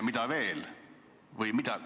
Mida veel?